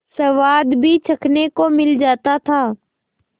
स्वाद भी चखने को मिल जाता था